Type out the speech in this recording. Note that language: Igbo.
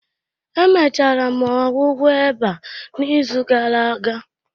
Emechara m ọgwụgwọ eba n'izu gara aga